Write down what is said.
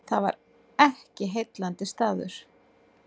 Það var ekki heillandi staður.